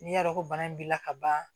N'i y'a dɔn ko bana b'i la ka ban